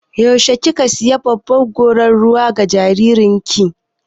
Yaushe kika sayi babbar gorar ruwa ga jaririn ki?